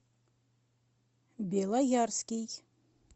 белоярский